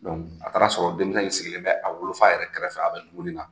Donku a taara sɔrɔ denmisɛn in sigilen bɛ a wolofa yɛrɛ kɛrɛfɛ, a bɛ dumuni na!